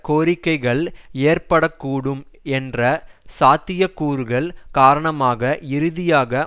கோரிக்கைகள் ஏற்கப்படக்கூடும் என்ற சாத்திய கூறுகள் காரணமாக இறுதியாக